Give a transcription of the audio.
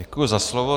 Děkuji za slovo.